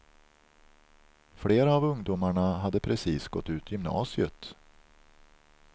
Flera av ungdomarna hade precis gått ut gymnasiet.